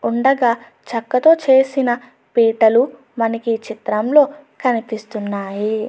ఉండంగా చెక్కతో చేసిన పీటలు మనకీ చిత్రంలో కనిపిస్తున్నాయి.